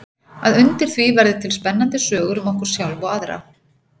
Að undir því verði til spennandi sögur um okkur sjálf og aðra.